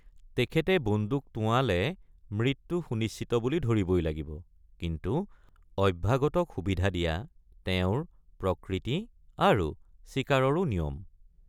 তেখেতে বন্দুক টোঁৱালে মৃত্যু সুনিশ্চিত বুলি ধৰিবই লাগিব কিন্তু অভ্যাগতক সুবিধা দিয়া তেওঁৰ প্ৰকৃতি আৰু চিকাৰৰো নিয়ম।